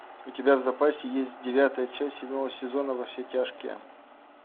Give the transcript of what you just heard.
у тебя в запасе есть девятая часть седьмого сезона во все тяжкие